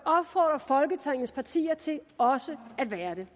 opfordre folketingets partier til også at være det